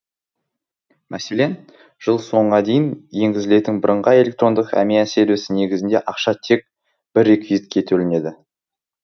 мәселен жыл соңға дейін енгізілетін бірыңғай электрондық әмиян сервисі негізінде ақша тек бір реквизитке төленеді